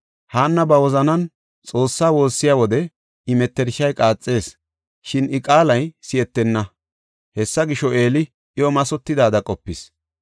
Haanna ba wozanan Xoossaa woossiya wode I mettershay qaaxees, shin I qaalay si7etenna; hessa gisho, Eeli iyo mathotidaada qopis.